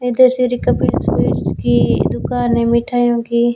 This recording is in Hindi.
इधर से कपिल स्वीट्स की दुकान में मिठाइयों की--